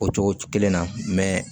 O cogo kelen na